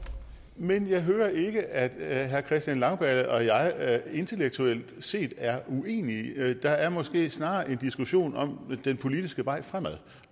men jeg hører ikke at herre christian langballe og jeg intellektuelt set er uenige der er måske snarere en diskussion om den politiske vej fremad